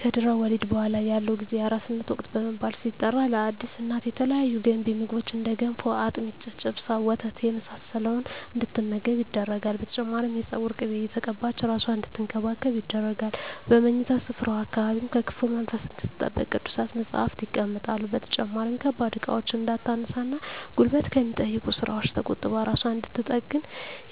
ከድህረ ወሊድ በኃላ ያለው ጊዜ የአራስነት ወቅት በመባል ሲጠራ ለአዲስ እናት የተለያዩ ገንቢ ምግቦች እንደ ገንፎ፣ አጥሚት፣ ጨጨብሳ፣ ወተት የመሳሰለውን እንድትመገብ ይደረጋል። በተጨማሪም የፀጉር ቅቤ እየተቀባች እራሷን አንድትንከባከብ ይደረጋል። በምኝታ ስፍራዋ አካባቢም ከክፉ መንፈስ እንድትጠበቅ ቅዱሳት መፀሃፍት ይቀመጣሉ። በተጨማሪም ከባድ እቃዎችን እንዳታነሳ እና ጉልበት ከሚጠይቁ ስራወች ተቆጥባ እራሷን እንድንትጠግን